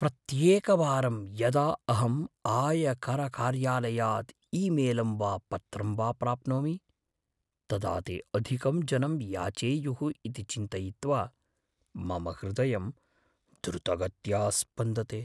प्रत्येकवारं यदा अहं आयकरकार्यालयात् ईमेल् वा पत्रं वा प्राप्नोमि, तदा ते अधिकं धनं याचेयुः इति चिन्तयित्वा मम हृदयं द्रुतगत्या स्पन्दते।